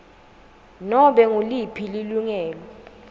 nobe nguliphi lilungelo